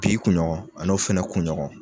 Bi kuɲɔgɔn an'o fɛnɛ kuɲɔgɔn